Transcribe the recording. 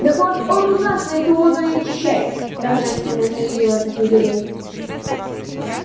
так вот он у нас эту воду и очищает торжественно заявил этот негодяй